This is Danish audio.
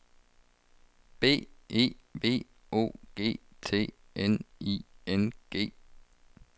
B E V O G T N I N G